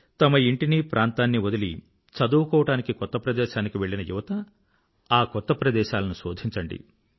తమ ఇంటిని ప్రాంతాన్ని వదిలి చదువుకోవడానికి కొత్త ప్రదేశానికి వెళ్ళిన యువత ఆ కొత్త ప్రదేశాలను శోధించండి